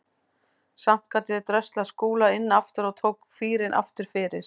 Samt gat ég dröslað Skúla inn aftur og tók fýrinn aftur fyrir.